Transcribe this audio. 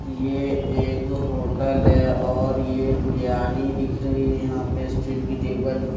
ये एक होटल है और यह बिरयानी दिख रही है। यहां पे स्टील की टेबल --